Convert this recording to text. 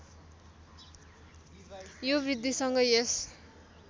यो वृद्धिसँगै यस